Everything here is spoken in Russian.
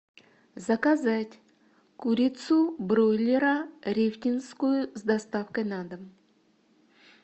заказать курицу бройлера рефтинскую с доставкой на дом